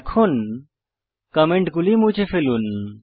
এখন কমেন্টগুলি মুছে ফেলুন